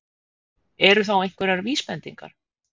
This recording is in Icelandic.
Eru þá einhverjar vísbendingar?